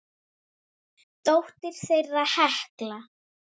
Dóttir þeirra er Hekla.